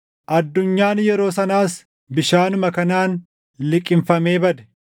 Addunyaan yeroo sanaas bishaanuma kanaan liqimfamee bade.